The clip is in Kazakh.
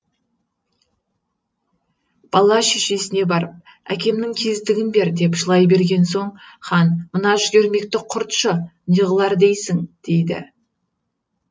бала шешесіне барып әкемнің кездігін бер деп жылай берген соң хан мына жүгермекті құртшы не қылар дейсің дейді